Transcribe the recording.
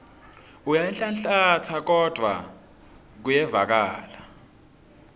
uyanhlanhlatsa kodvwa kuyevakala